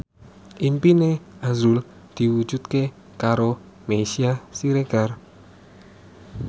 impine azrul diwujudke karo Meisya Siregar